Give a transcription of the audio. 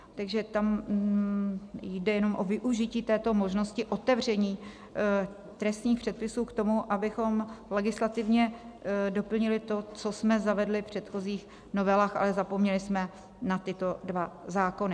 Takže tam jde jenom o využití této možnosti otevření trestních předpisů k tomu, abychom legislativně doplnili to, co jsme zavedli v předchozích novelách, ale zapomněli jsme na tyto dva zákony.